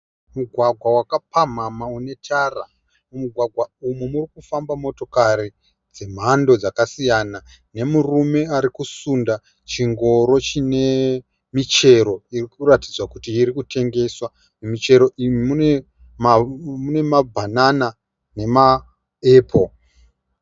Mugwagwa wakapamhamhama une tara. Mumugwagwa umu muri kufamba motikari dzemhando dzakasiyana nemurume arikusunda chingoro chine michero iri kuratidza kuti iri kutengeswa. Muchingoro umu mune mabhanana nemaepo.